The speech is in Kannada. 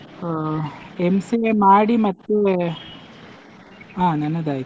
ಹಾ MCA ಮಾಡಿ ಮತ್ತೆ, ಅಹ್ ನನ್ನದಾಯ್ತು.